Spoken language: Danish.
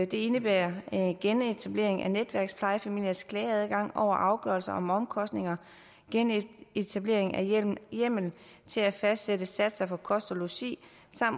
det indebærer en genetablering af netværksplejefamiliers klageadgang over afgørelser om omkostninger genetablering af hjemmel til at fastsætte satser for kost og logi